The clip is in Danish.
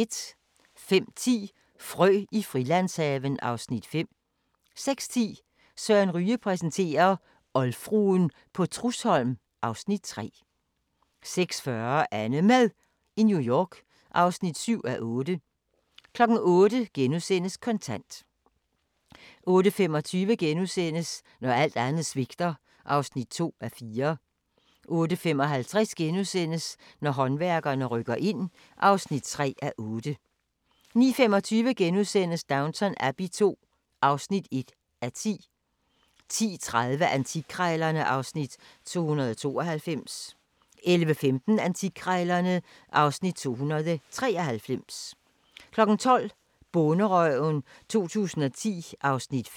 05:10: Frø i Frilandshaven (Afs. 5) 06:10: Søren Ryge præsenterer - oldfruen på Trudsholm (Afs. 3) 06:40: AnneMad i New York (7:8) 08:00: Kontant * 08:25: Når alt andet svigter (2:4)* 08:55: Håndværkerne rykker ind (3:8)* 09:25: Downton Abbey II (1:10)* 10:30: Antikkrejlerne (Afs. 292) 11:15: Antikkrejlerne (Afs. 293) 12:00: Bonderøven 2010 (Afs. 5)